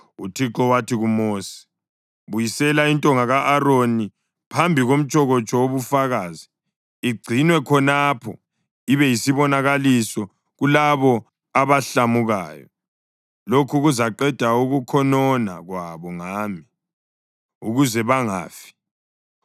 UThixo wathi kuMosi, “Buyisela intonga ka-Aroni phambi komtshokotsho wobufakazi, igcinwe khonapho ibe yisibonakaliso kulabo abahlamukayo. Lokhu kuzaqeda ukukhonona kwabo ngami, ukuze bangafi.”